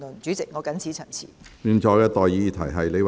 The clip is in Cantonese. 主席，我謹此陳辭。